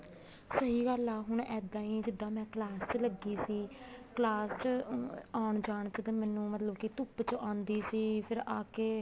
ਸਹੀ ਗੱਲ ਆ ਹੁਣ ਇੱਦਾਂ ਹੀ ਜਿੱਦਾਂ ਮੈਂ class ਚ ਲੱਗੀ ਸੀ class ਚ ਆਉਣ ਜਾਉਣ ਚ ਤਾਂ ਮੈਨੂੰ ਮਤਲਬ ਕੀ ਧੁੱਪ ਚ ਆਉਂਦੀ ਸੀ ਫ਼ੇਰ ਆਕੇ